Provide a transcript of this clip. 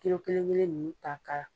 kelen kelen ninnu ta kala